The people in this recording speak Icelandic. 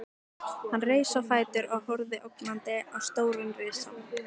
Hann reis á fætur og horfði ógnandi á stóran risann.